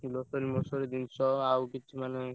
Grocery ମୋଶ୍ରରି ଜିନିଷ ଆଉ କିଛି ମାନେ।